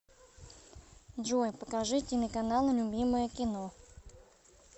джой покажи телеканал любимое кино